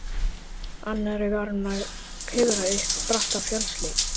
annarri var hún að klifra upp bratta fjallshlíð.